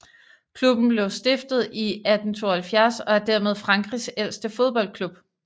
Klubben blev stiftet i 1872 og er dermed Frankrigs ældste fodboldklub